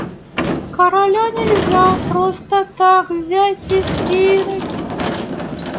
короля нельзя просто так взять и скинуть